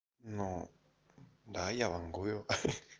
но да я вангую